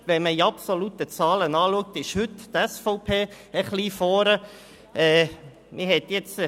Wenn man die absoluten Zahlen anschaut, liegt heute die SVP etwas vorne.